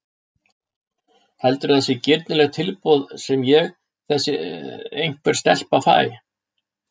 Heldurðu að það sé girnilegt tilboð sem ég, þessi einhver stelpa, fæ?